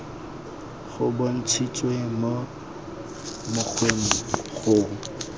go bontshitswe mo mokgweng go